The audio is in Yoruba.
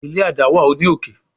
ilé adáwà o ní òkè.